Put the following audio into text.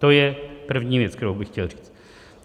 To je první věc, kterou bych chtěl říct.